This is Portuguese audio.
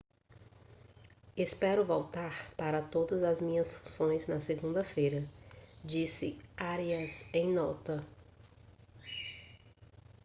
espero voltar para todas as minhas funções na segunda-feira disse arias em nota